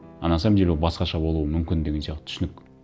а на самом деле ол басқаша болуы мүмкін деген сияқты түсінік